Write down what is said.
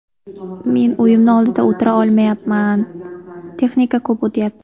Men uyimni oldida o‘tira olmayapman, texnika ko‘p o‘tyapti.